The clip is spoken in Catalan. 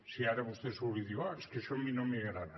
si ara vostè surt i diu ah és que això a mi no m’hi agrada